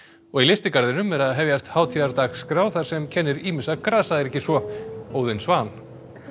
og í lystigarðinum er að hefjast hátíðardagskrá þar sem kennir ýmissa grasa er ekki svo Óðinn Svan